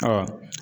Ɔ